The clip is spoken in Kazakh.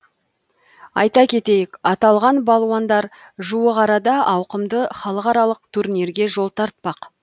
айта кетейік аталған балуандар жуық арада ауқымды халықаралық турнирге жол тартпақ